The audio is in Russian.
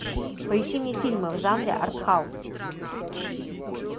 поищи мне фильмы в жанре артхаус